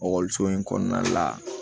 Ekɔliso in kɔnɔna la